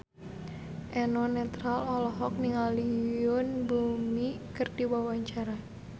Eno Netral olohok ningali Yoon Bomi keur diwawancara